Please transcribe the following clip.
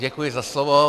Děkuji za slovo.